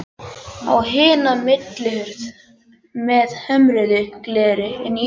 Á hina millihurð með hömruðu gleri inn í íbúðina.